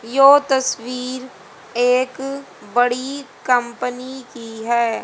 यो तस्वीर एक बड़ी कंपनी की है।